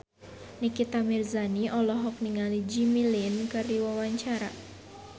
Nikita Mirzani olohok ningali Jimmy Lin keur diwawancara